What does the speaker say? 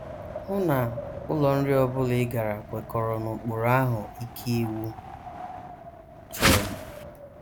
Hụ na ụlọ nri ọ bụla ị gara kwekọrọ n’ụkpụrụ ahụ́ ike iwu chọrọ.